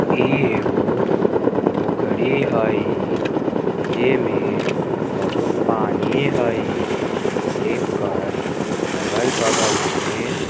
इ ऐगो पोखरी हई जे मे बहुत पानी हई एक कार अगल-बगल मे--